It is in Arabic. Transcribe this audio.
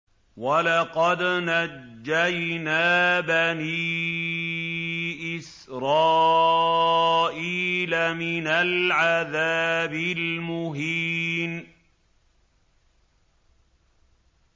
وَلَقَدْ نَجَّيْنَا بَنِي إِسْرَائِيلَ مِنَ الْعَذَابِ الْمُهِينِ